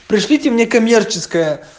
пришлите мне коммерческое